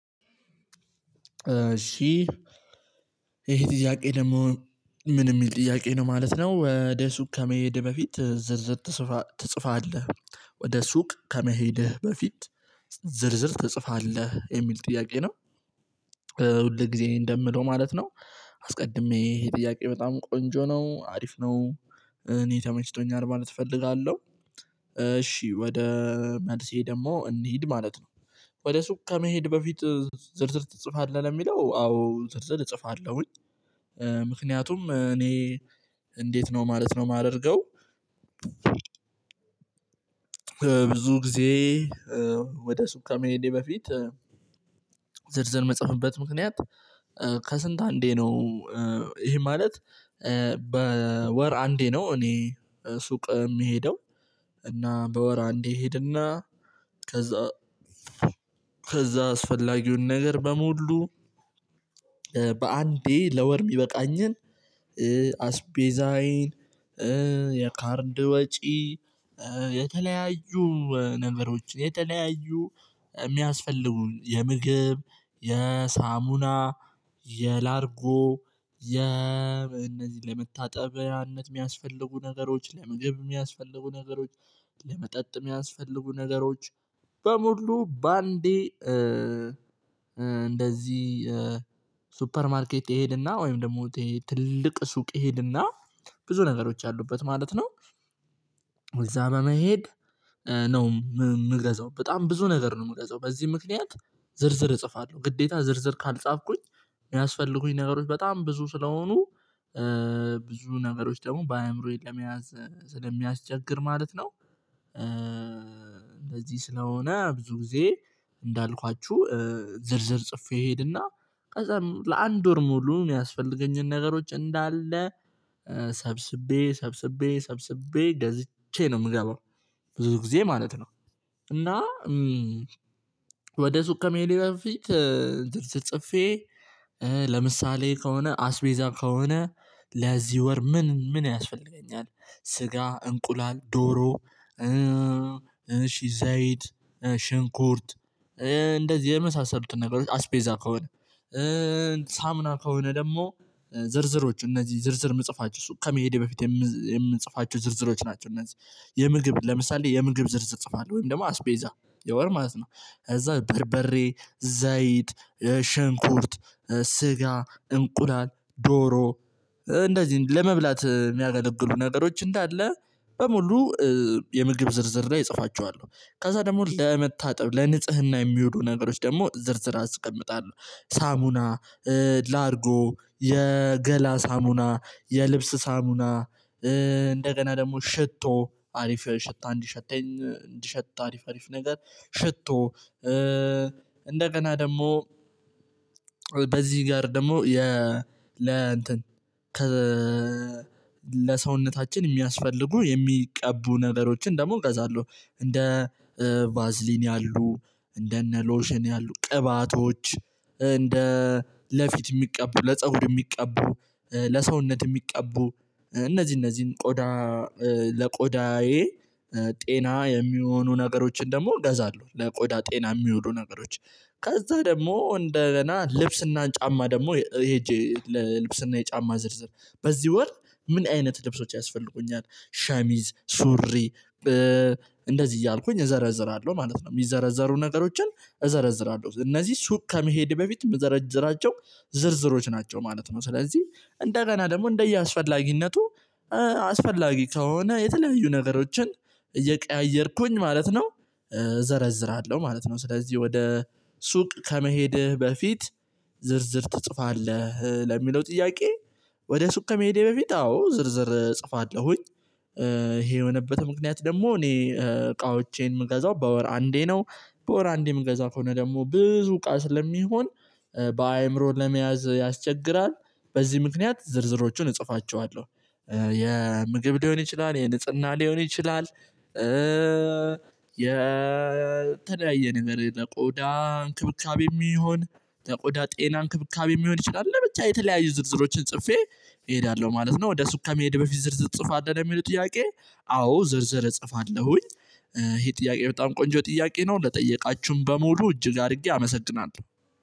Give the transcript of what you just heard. እሺ ይሄ ጥያቄ ደግሞ ምን የሚል ጥያቄ ነው ማለት ነው። ወደ ሱቅ ከመሄዴ በፊት ዝርዝር ትጽፋለህ ወደ ሱቅ ከመሄድህ በፊት ዝርዝር ትጽፋለህ የሚል ጥያቄ ነው። ሁል ጊዜ እንደምለው ማለት ነው። አስቀድሜ ይሄ ጥያቄ በጣም ቆንጆ ነው አሪፍ ነው። እኔ ተመችቶኛል ማለት እፈልጋለሁ። እሺ ወደ መልሴ ደግሞ እንሂድ ማለት ነው። ወደ ሱቅ ከመሄድ በፊት ዝርዝር ትጽፋለህ የሚለው አዎ ዝርዝር እጽፋለሁኝ። ምክንያቱም እኔ እንዴት ነው ማለት ነው የማደርገው። ብዙ ጊዜ ወደ ሱቅ ከመሄዴ በፊት ዝርዝር ምጽህፍበት ምክንያት ከስንት አንዴ ነው። ይሄ ማለት በወር አንዴ ነው እኔ ሱቅ የምሄደው። እና በወር አንዴ ሄድ እና ከዛ አስፈላጊውን ነገር በሙሉ በአንዴ ለወር የሚበቃኝን አስቤዛዬን የካርድ ወጪ የተለያዩ ነገሮችን የተለያዩ የሚያስፈልጉን የምግብ የሳሙና የላርጎ የእነዚህ ለመታጠቢያነት የሚያስፈልጉ ነገሮች ለምግብ የሚያስፈልጉ ነገሮች ለመጠጥ የሚያስፈልጉ ነገሮች በሙሉ በአንዴ እንደዚህ ሱፐር ማርኬት እሄድና ወይም ደግሞ ትልቅ ሱቅ እሄድና ብዙ ነገሮች አሉበት ማለት ነው። እዛ በመሄድ ነው የምገዛው በጣም ብዙ ነገር ነው የምገዛው በዚህ ምክንያት። ዝርዝር እጽፋለሁ ግዴታ ዝርዝር ካልጻፍኩኝ የሚያስፈልጉኝ ነገሮች በጣም ብዙ ስለሆኑ ብዙ ነገሮች ደግሞ በአእምሮዬ ለመያዝ ስለሚያስቸግር ማለት ነው። እንደዚህ ስለሆነ ብዙ ጊዜ እንዳልኳችሁ ዝርዝር ጽፌ ሄድና ከዛም ለአንድ ወር ሙሉ የሚያስፈልገኝን ነገሮች እንዳለ ሰብስቤ ሰብስቤ ሰብስቤ ገዝቼ ነው የምገባው። ብዙ ጊዜ ማለት ነው። እና ወደ ሱቅ ከመሄድ በፊት ዝርዝር ጽፌ ለምሳሌ ከሆነ አስቤዛ ከሆነ ለዚህ ወር ምን ምን ያስፈልገኛል? ስጋ እንቁላል ዶሮ እሺ ዘይት ሽንኩርት እንደዚህ የመሳሰሉትን ነገሮች አስፔዛ ከሆነ ሳሙና ከሆነ ደግሞ ዝርዝሮች እነዚህ ዝርዝር የምጽፋቸው ሱቅ ከመሄዴ በፊት የምጽፋችሁ ዝርዝሮች ናቸው። እነዚህ የምግብ ለምሳሌ የምግብ ዝርዝር እጽፋለሁ ወይም ደግሞ አስቤዛ የወር ማለት ነው። እዛ በርበሬ ዘይት ሸንኩርት ስጋ እንቁላል ዶሮ እንደዚህ ለመብላት የሚያገለግሉ ነገሮች እንዳለ በሙሉ የምግብ ዝርዝር ላይ እጽፋችኋለሁ። ከዛ ደግሞ ለመታጠብ ለንጽህና የሚሆኑ ነገሮች ደግሞ ዝርዝር አስቀምጣለሁ። ሳሙና ላርጎ የገላ ሳሙና የልብስ ሳሙና እንደገና ደግሞ ሽቶ አሪፍ ሽታ እንዲሸተኝ እንዲሸት አሪፍ አሪፍ ነገር ሽቶ እንደገና ደግሞ በዚህ ጋር ደግሞ የ ለ እንትን ከ ለሰውነታችን የሚያስፈልጉ የሚቀቡ ነገሮችን ደግሞ እገዛለሁ እንደ ቫዝሊን ያሉ እንደ እነ ሎሽን ያሉ ቅባቶች እንደ ለፊት የሚቀቡ ለፀጉር የሚቀቡ ለሰውነት የሚቀቡ እነዚህ እነዚህን ቆዳ ለቆዳዬ ጤና የሚሆኑ ነገሮችን ደግሞ እገዛለሁ ለቆዳ ጤና የሚውሉ ነገሮች። ከዛ ደግሞ እንደገና ልብስ እና ጫማ ደግሞ ሄጄ ለልብስና የጫማ ዝርዝር በዚህ ወር ምን አይነት ልብሶች ያስፈልጉኛል ሻሚዝ ሱሪ። እንደዚህ እያልኩኝ እዘረዝራለሁ ማለት ነው። የሚዘረዘሩ ነገሮችን እዘረዝራለሁ እነዚህ ሱቅ ከመሄድ በፊት መዘረዝራቸው ዝርዝሮች ናቸው ማለት ነው። ስለዚህ እንደገና ደግሞ እንደየአስፈላጊነቱ አስፈላጊ ከሆነ የተለያዩ ነገሮችን እየቀያየርኩኝ ማለት ነው። እዘረዝራለሁ ማለት ነው። ስለዚህ ወደ ሱቅ ከመሄድህ በፊት ዝርዝር ትጽፋለህ ለሚለው ጥያቄ? ወደ ሱቅ ከመሄዴ በፊት በፊት አዎ ዝርዝር እጽፋለሁኝ። ይሄ የሆነበት ምክንያት ደግሞ እኔ እቃዎቼን የምገዛው በወር አንዴ ነው። በወር አንዴ የምገዛው ከሆነ ደግሞ ብዙ እቃ ስለሚሆን በአእምሮ ለመያዝ ያስቸግራል። በዚህ ምክንያት ዝርዝሮቹን እጽፋቸዋለሁ። የምግብ ሊሆን ይችላል የንጽህና ሊሆን ይችላል። የተለያየ ነገር ለቆዳ እንክብካቤ የሚሆን የቆዳ ጤና እንክብካቤ የሚሆን ይችላል ለብቻ የተለያየ ዝርዝሮችን ጽፌ እሄዳለሁ ማለት ነው። ወደ ሱቅ ከመሄድ በፊት ዝርዝር እጽፋለሁ የሚሉት ጥያቄ? አዎ ዝርዝር እጽፋለሁኝ። ይሄ ጥያቄ በጣም ቆንጆ ጥያቄ ነው ለጠየቃችሁም በሙሉ እጅግ አድርጌ አመሰግናለሁ።